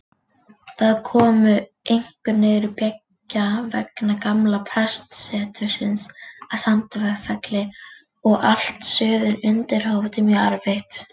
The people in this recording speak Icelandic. Þau komu einkum niður beggja vegna gamla prestsetursins að Sandfelli og allt suður undir Hof.